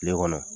Kile kɔnɔ